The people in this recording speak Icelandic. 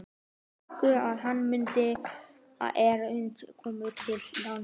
Verkinu lýkur í þann mund er Sverrir kemur til landa.